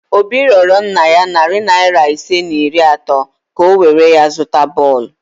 Obi rịorọ nna ya narị naịra ise na iri atọ ka o were ya zụta bọọlụ